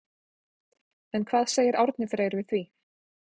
En hvað segir Árni Freyr við því?